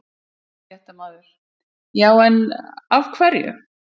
Fréttamaður: Já, en af hverju?